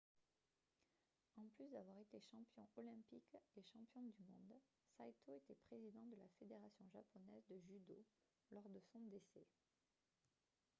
en plus d'avoir été champion olympique et champion du monde saito était président de la fédération japonaise de judo lors de son décès